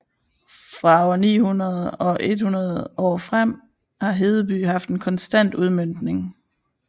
Fra år 900 og 100 år frem har Hedeby haft en konstant udmøntning